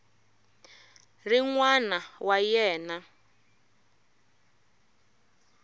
ri n wana wa yena